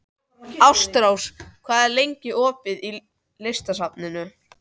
Ástrós, hvað er lengi opið í Listasafninu?